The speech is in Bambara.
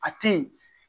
A tɛ ye